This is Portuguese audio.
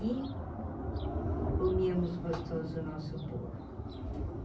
E comíamos gostoso o nosso bolo.